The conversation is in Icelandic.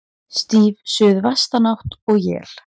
Stíf suðvestanátt og él